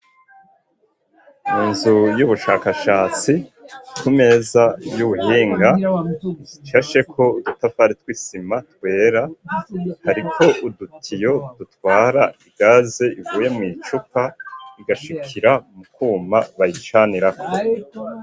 Mu nzu y'ubushakashatsi, ku meza y'ubuhinga ishasheko udutafari tw'isima twera, hariko udutiyo dutwara igaze ivuye mw'icupa, igashikira mu kuma bayicanirako.